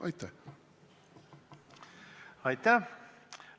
Aitäh!